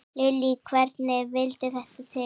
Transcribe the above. Lillý: Hvernig vildi þetta til?